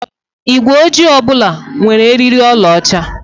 Igwe ojii ọ bụla nwere eriri ọlaọcha.